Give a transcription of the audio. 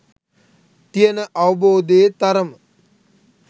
තියන අවබෝධයේ තරම.